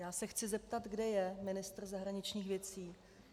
Já se chci zeptat, kde je ministr zahraničních věcí.